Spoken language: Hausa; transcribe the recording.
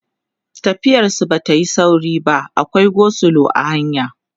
tafiyar su Bata Yi sauri ba akwai go slow a hanya